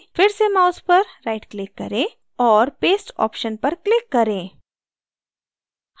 फिर से mouse पर right click करें और paste option पर click करें